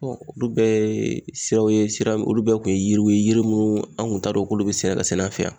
olu bɛɛ ye siraw ye sira olu bɛɛ kun ye yiriw ye yiri minnu kun t'a dɔn k'olu bɛ sɛnɛ ka sɛnɛ an fɛ yan